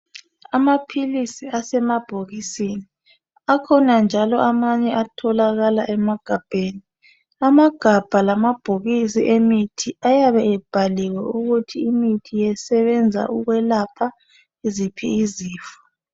amaphilisi asemabhokisini akhona njalo amanye atholakala emagabheni amagabha lama bhokisi emithi ayabe ebhaliwe ukuthi imithi isebenza ukwelapha ziphi izifo